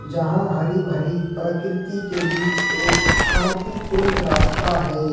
यहां हरी भरी प्रकृति के बीच एक शांतिपूर्ण रास्ता है।